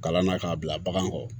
Kalan na k'a bila bagan kɔrɔ